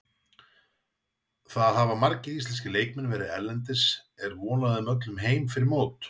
Það hafa margir íslenski leikmenn verið erlendis, er von á þeim öllum heim fyrir mót?